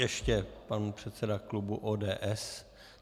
Ještě pan předseda klubu ODS.